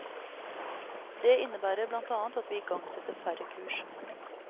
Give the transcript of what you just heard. Det innebærer blant annet at vi igangsetter færre kurs.